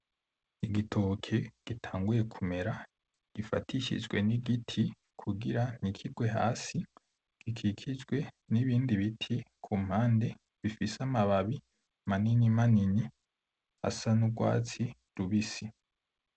Igitoke gitanguye kumera, gifatishijwe n'igiti kugira ntikigwe hasi, gikikijwe n'ibindi biti ku mpande bifise amababi manini manini asa n'urwatsi rubisi.